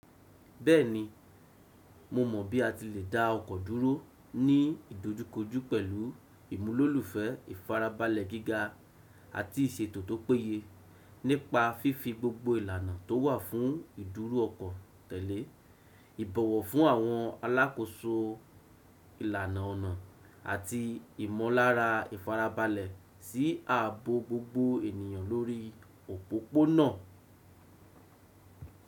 Bẹ́ẹ̀ni, mo mọ̀ bí a ti lè dá ọkọ̀ dúró ní ìdojúkojú pẹ̀lú ìmúlòlùfẹ́ ìfarabalẹ̀ gíga àti ìṣètò tó péye nípa fífi gbogbo ìlànà tó wà fún ìdúró ọkọ̀ tẹ̀lé, ìbọ̀wọ̀ fún àwọn alákòóso ìlànà ọ̀nà àti ìmọ̀lára ìfarabalẹ̀ sí ààbò gbogbo ènìyàn lórí òpópónà.